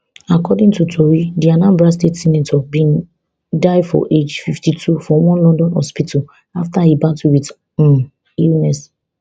according to tori di anambra south senator bin die for age fifty-two for one london hospital afta e battle wit um illness